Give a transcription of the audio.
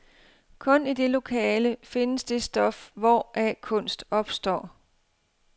Kun i det lokale findes det stof, hvoraf kunst opstår.